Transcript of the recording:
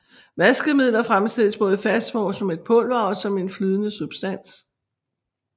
Vaskemidler fremstilles både i fast form som et pulver og som en flydende substans